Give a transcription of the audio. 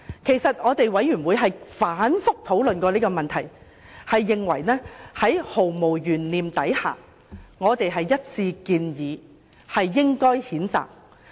其實，調查委員會曾反覆討論這個問題，毫無懸念地一致建議作出譴責。